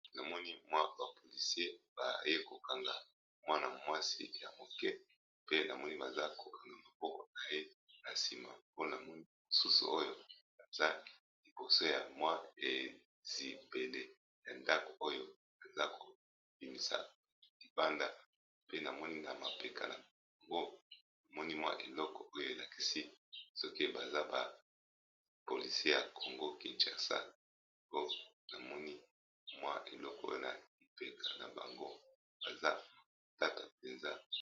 Na moni mwa ba polisie baye ko kanga mwana mwasi ya moke pe na moni baza kokanga mapoko na ye na nsima mpona moni mosusu oyo aza liboso ya mwa ezibele ya ndako oyo aza kobimisa libanda pe namoni na mapeka na ngo na moni mwa eloko oyo elakisi soki baza ba polisie ya kongo kishasa po na moni mwa eloko na lipeka na bango baza matata mpenza.